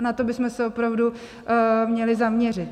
A na to bychom se opravdu měli zaměřit.